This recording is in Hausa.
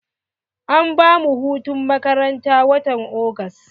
An bamu hutun makaranta watan Agusta.